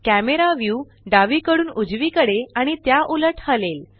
camera view डावीकडून उजवीकडे आणि त्या उलट हलेल